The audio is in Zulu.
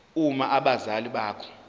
uma abazali bakho